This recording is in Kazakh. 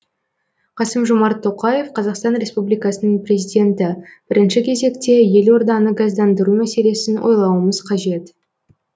қасым жомарт тоқаев қазақстан республикасының президенті бірінші кезекте елорданы газдандыру мәселесін ойлауымыз қажет